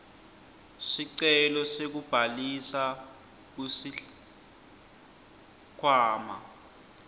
sicelo sekubhalisa kusikhwama